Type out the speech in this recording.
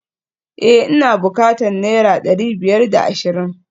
Eh ina bukatan naira dari biyar da ashirin